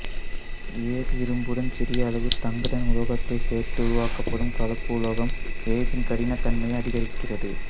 எஃகு இரும்புடன் சிறிய அளவு தங்குதன் உலோகத்தைச் சேர்த்து உருவாக்கப்படும் கலப்புலோகம் எஃகின் கடினத்தன்மையை அதிகரிக்கிறது